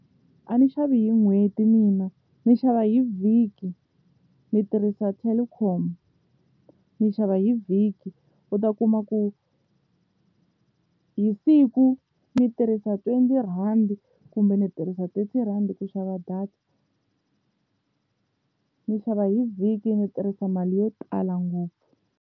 A ni xavi hi n'hweti mina ni xava hi vhiki ni tirhisa Telkom, ni xava hi vhiki u ta kuma ku hi siku ndzi tirhisa twenty rhandi kumbe ndzi tirhisa thinty rhandi ku xava data ni xava hi vhiki ndzi tirhisa mali yo tala ngopfu.